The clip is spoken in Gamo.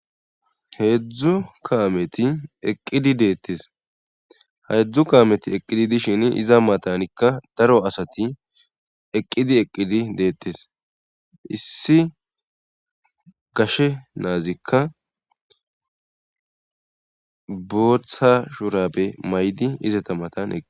Heedzdzu kaameti eqqidi deettes heedzdzu kaameti eqqidi dishin iza matanikka daro asati eqqidi eqqidi deettes issi gashe naazikka bootha shurabe maydi izata mataneqi